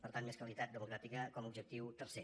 per tant més qualitat democràtica com a objectiu tercer